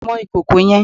Mọ ìkòkò yẹn!